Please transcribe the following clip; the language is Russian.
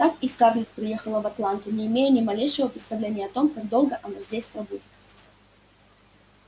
так и скарлетт приехала в атланту не имея ни малейшего представления о том как долго она здесь пробудет